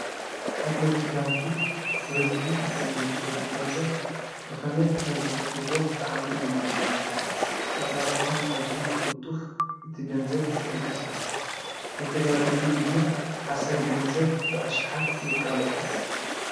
ሓለውቲ ባንኪ በዝኂ ዝብርከብ ገንዘብ ብኸመይ ከም ዝቖጽርዎ ጣዕኒ እዩ ዝገርመኒ ኣፃልዑቶም ኣዝይ ብቕጡፍ እቲገንዘብ ይቕንቀሰኣስ ከተጋገዩ ድማ ሓሰር ገንዘብ ብኣሽሓት የቃልዑ።